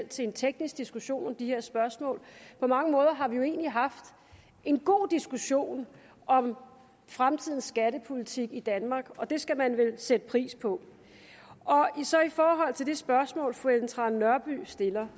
til en teknisk diskussion af de her spørgsmål på mange måder har vi jo egentlig haft en god diskussion om fremtidens skattepolitik i danmark og det skal man vel sætte pris på så til det spørgsmål fru ellen trane nørby stiller